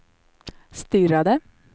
stirrade